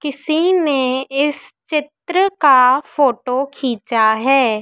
किसी ने इस चित्र का फोटो खींचा हैं।